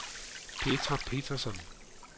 Petra Petersson